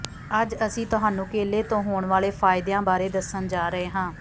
ਅੱਜ ਅਸੀਂ ਤੁਹਾਨੂੰ ਕੇਲੇ ਤੋਂ ਹੋਣ ਵਾਲੇ ਫਾਇਦਿਆਂ ਬਾਰੇ ਦੱਸਣ ਜਾ ਰਹੇ ਹਾਂ